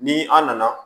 Ni an nana